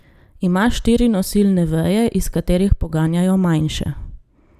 Ima štiri nosilne veje, iz katerih poganjajo manjše.